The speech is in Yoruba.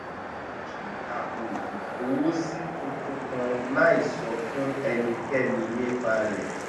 ó ṣí apò ìkówósí tuntun kan láì sọ fún ẹnikẹ́ni nípa rẹ̀